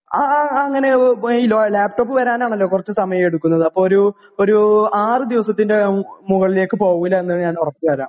Laptop വരാന് ആണല്ലോ കുറച്ച് സമയം എടുക്കുന്നത്. അപ്പോൾ ഒരു, ഒരു ആറു ദിവസത്തിന്റെ മുകളിലേക്ക് പോവില്ല എന്ന് ഞാൻ ഉറപ്പു തരാം.